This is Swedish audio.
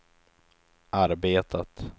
arbetat